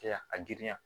Kɛ a girinya